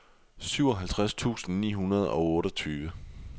syvoghalvtreds tusind ni hundrede og otteogtyve